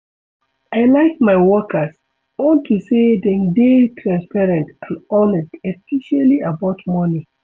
I like my workers unto say dem dey transparent and honest especially about money.